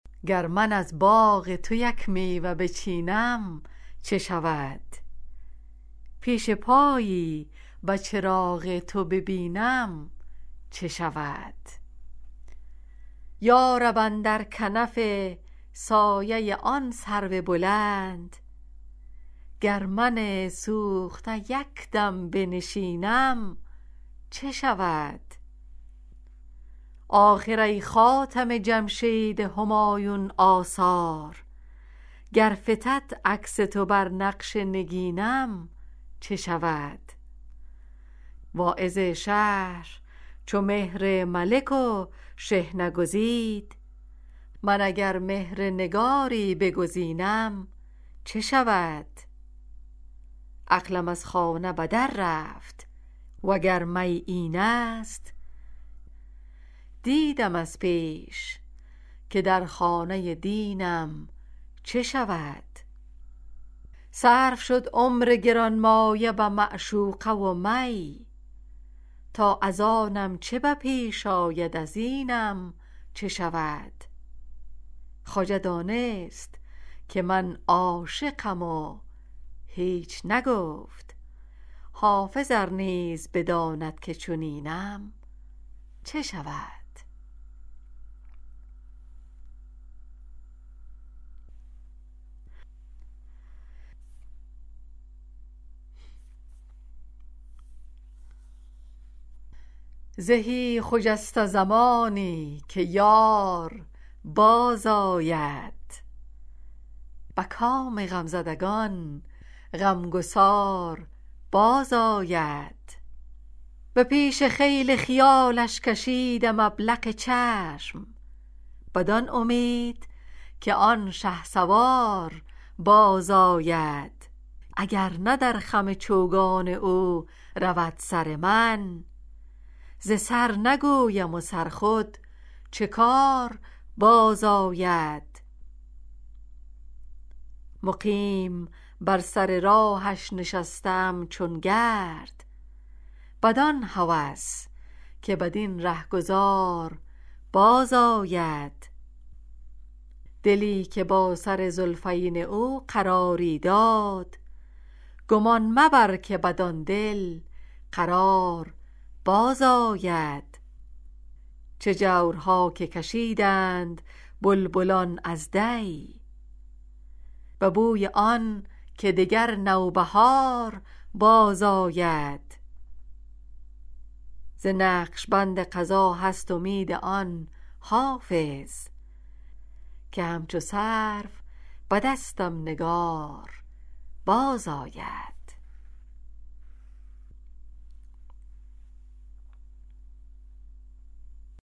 گر من از باغ تو یک میوه بچینم چه شود پیش پایی به چراغ تو ببینم چه شود یا رب اندر کنف سایه آن سرو بلند گر من سوخته یک دم بنشینم چه شود آخر ای خاتم جمشید همایون آثار گر فتد عکس تو بر نقش نگینم چه شود واعظ شهر چو مهر ملک و شحنه گزید من اگر مهر نگاری بگزینم چه شود عقلم از خانه به در رفت وگر می این است دیدم از پیش که در خانه دینم چه شود صرف شد عمر گرانمایه به معشوقه و می تا از آنم چه به پیش آید از اینم چه شود خواجه دانست که من عاشقم و هیچ نگفت حافظ ار نیز بداند که چنینم چه شود